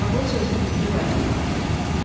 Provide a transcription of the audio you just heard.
Xaxol sözünü bitirib ayağa qalxdı.